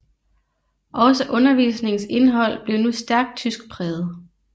Også undervisningens indhold blev nu stærkt tyskpræget